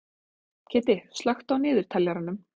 Kiddi, slökktu á niðurteljaranum.